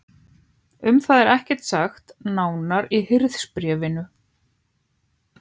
Um það er ekkert sagt nánar í Hirðisbréfinu.